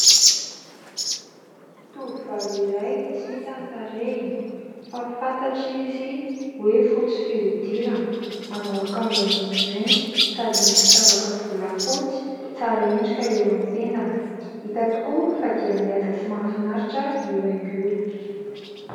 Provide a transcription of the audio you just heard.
Tovovavy iray tsy hita ny tarehiny fa fantatra izy hoe : fotsy fihodirana, manao akanjo ambony mainty, sady misy firavaka volafotsy tsara endrika eo amin'ny tendany ; hita tokoa fa dia mihaja sy mahafinaritra io haingo io.